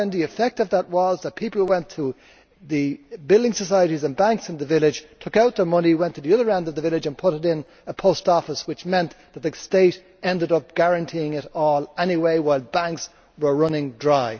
In Ireland, the effect of that was that the people who went to the building societies and banks in the village took out their money, went to the other end of the village and put it in a post office, which meant that the state ended up guaranteeing it all anyway, while banks were running dry.